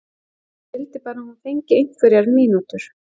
Ég vildi bara að hún fengi einhverjar mínútur.